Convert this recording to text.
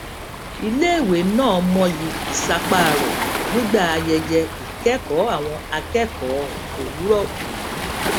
iléèwé náà mọyì ìsapá rẹ nígbà ayẹyẹ ìkékòó àwọn akékòó òwúrò òní